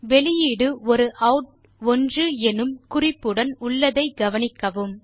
வெளியீடு ஒரு Out1 எனும் குறிப்புடன் உள்ளதை கவனிக்கவும்